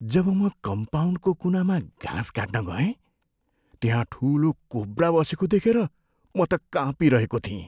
जब म कम्पाउन्डको कुनामा घाँस काट्न गएँ, त्यहाँ ठुलो कोब्रा बसेको देखेर म त काँपिरहेको थिएँ।